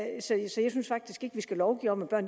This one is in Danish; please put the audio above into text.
vi skal lovgive om at